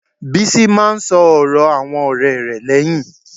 Bísí máá ń sọ̀rọ̀ àwọn ọ̀rẹ́ rẹ̀ lẹ́yìn.